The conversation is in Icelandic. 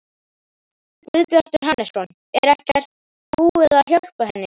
Guðbjartur Hannesson: Er ekkert búið að hjálpa henni?